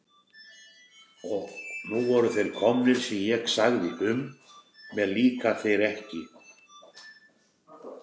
Og nú væru þeir komnir sem ég segði um: mér líka þeir ekki.